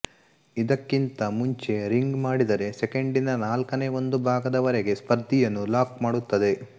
ಇದಕ್ಕಿಂತ ಮುಂಚೆ ರಿಂಗ್ ಮಾಡಿದರೆ ಸೆಕೆಂಡಿನ ನಾಲ್ಕನೇ ಒಂದು ಭಾಗದವರೆಗೆ ಸ್ಪರ್ಧಿಯನ್ನು ಲಾಕ್ ಮಾಡುತ್ತದೆ